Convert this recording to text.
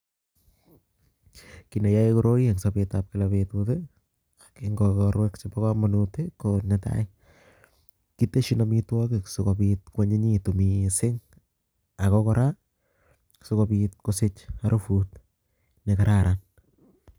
Kineyoe koroi en sobetab kila betut ko en ikorwek chebo komonut ko netai keteshin amitwokik sikobit kwonyinyitu mising ak ko kora sikobiit kosich arubut nekararan.